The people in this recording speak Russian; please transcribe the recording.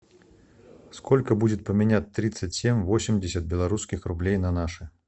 сколько будет поменять тридцать семь восемьдесят белорусских рублей на наши